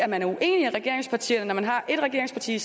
man er uenig i regeringspartierne man har et regeringsparti